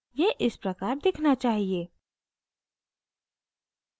यह इस प्रकार दिखना चाहिए